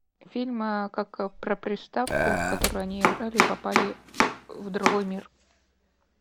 фильм как про приставку в которую они играли и попали в другой мир